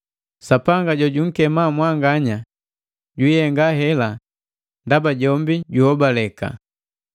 Sapanga jojunkema mwanganya jwiihenga hela ndaba jombi juhobaleka.